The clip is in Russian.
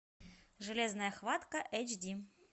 железная хватка эйч ди